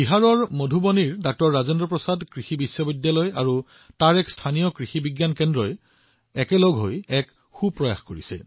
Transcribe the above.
মধুবনীৰ ড০ ৰাজেন্দ্ৰ প্ৰসাদ কৃষি বিশ্ববিদ্যালয় আৰু স্থানীয় কৃষি বিজ্ঞান কেন্দ্ৰই একেলগে এটা ভাল প্ৰচেষ্টা কৰিছে